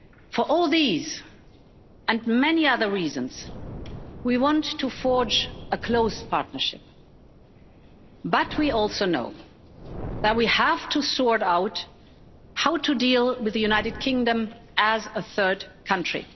For all these and many other reasons, we want to forge a close partnership, but we also know that we have to sort out how to deal with the United Kingdom as a third country.